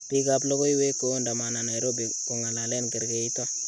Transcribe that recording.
Pik ap logowek koondamana nairobi kongalalen kerkeito